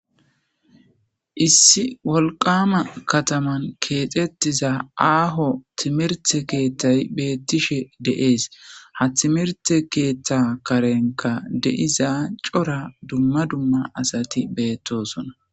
issi wolqama kataman keexxettiza aaho timirte keeththay beettishe de7ees ha timirte keeththa karenka deiza cora dumma dumma asati beettosona